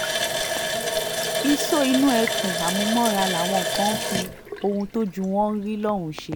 isọ̀ inú eku àmúmọ́ra làwọn kan ń fi ohun tójú wọn ń rí lọ́hùn-ún ṣe